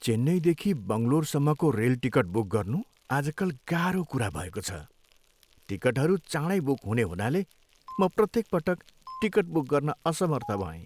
चेन्नईदेखि बङ्गलोरसम्मको rail ticket book गर्नु आजकल गाह्रो कुरा भएको छ। टिकटहरू चाँडै बुक हुने हुनाले म प्रत्येक पटक टिकट बुक गर्न असमर्थ भएँ।